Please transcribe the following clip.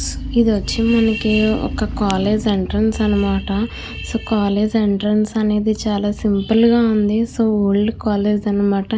ఇది ఆచి మనకి కాలేజీ ఎంట్రన్స్ అనమాట ఎంట్రన్స్కాలేజీ ఎంట్రన్స్ అనేది చాల సింపుల్ గ వుంది ఒళ్ కాలేజీ అనమాట.